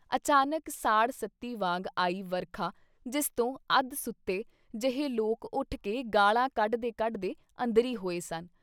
ਅਚਾਨਕ ਸਾੜ੍ਹ ਸਤੀ ਵਾਂਗ ਆਈ ਵਰਖਾ ਜਿਸ ਤੋਂ ਅੱਧ ਸੁੱਤੇ ਜਹੇ ਲੋਕ ਉੱਠ ਕੇ ਗਾਲ੍ਹਾਂ ਕੱਢਦੇ ਕੱਢਦੇ ਅੰਦਰੀ ਹੋਏ ਸਨ।